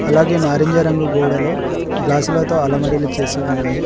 అలాగే నారింజ రంగు గోడలో గ్లాసులతో అలమరిలు చేసి ఉన్నాయి.